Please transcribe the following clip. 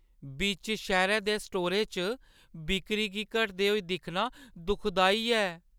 बिच्च शैह्‌रै दे स्टोरै च बिक्करी गी घटदे होई दिक्खना दुखदाई ऐ।